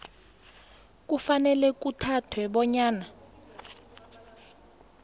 kufanele kuthathwe bonyana